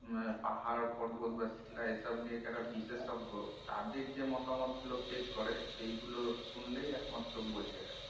পাহাড় পর্বত বা শিলা এই সব নিয়ে যারা বিশেষজ্ঞ তাদের যে মতামত গুলো পেশ করে সেই গুলো শুনলেই একমাত্র বুঝা যায়